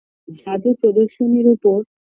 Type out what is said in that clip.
জাদু প্রদর্শনীর ওপর